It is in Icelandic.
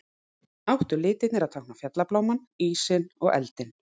Áttu litirnir að tákna fjallablámann, ísinn og eldinn.